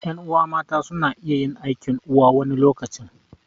Ƴan'uwa mata suna iya yin aikin uwa wani lokacin